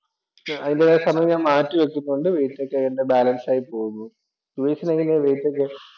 അതിന്‍റേതായ സമയം ഞാൻ മാറ്റിവയ്ക്കുന്നതുകൊണ്ട് വെയിറ്റ് ഒക്കെ എന്‍റെ ബാലന്‍സ് ആയി പോകുന്നു ഉപേഷിനു എങ്ങനെയാ വെയിറ്റൊക്കെ?